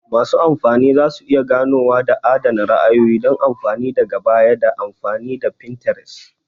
Masu amfani za su iya ganowa da adana ra'ayoyi don amfani daga baya ta amfani da Pinterest